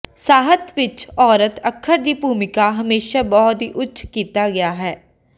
ਸਾਹਿਤ ਵਿੱਚ ਔਰਤ ਅੱਖਰ ਦੀ ਭੂਮਿਕਾ ਹਮੇਸ਼ਾ ਬਹੁਤ ਹੀ ਉੱਚ ਕੀਤਾ ਗਿਆ ਹੈ